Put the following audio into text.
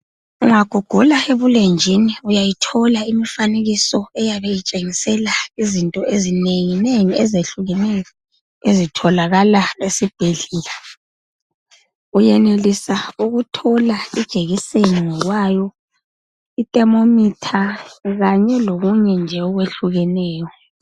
Unga gugula ebulenjini uyayithola imfanekiso eyabe itshengisela izinto ezinengi nengi ezehlukeneyo ezitholakala esibhedlela. Uyenelisa ukuthola ijekiseni ngokwayo i thermometer kanye lokunye nje okwehlukeneyo.